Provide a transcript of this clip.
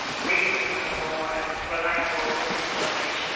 reasonable and reliable information.